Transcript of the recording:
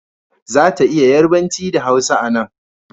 Za ta iya yarbanci da hausa a nan